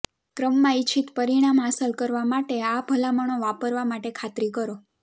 ક્રમમાં ઇચ્છિત પરિણામ હાંસલ કરવા માટે આ ભલામણો વાપરવા માટે ખાતરી કરો